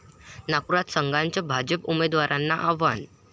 नागपूरात संघाचं भाजप उमेदवारांना आव्हान